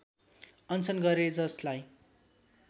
अनसन गरे जसलाई